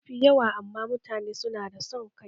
Mafi yawa amma yawancin mutane su na da son kai